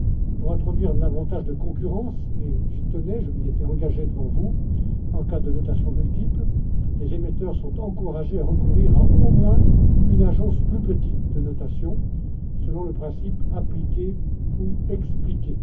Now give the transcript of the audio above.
Pour introduire davantage de concurrence j'y tenais, je m'y étais engagé devant vous en cas de notation multiple, les émetteurs sont encouragés à recourir à, au moins, une agence plus petite de notation, selon le principe appliquer ou expliquer.